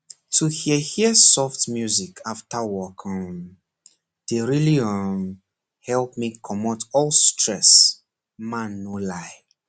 to hear hear soft music after work um dey really um help me comot all stress man no lie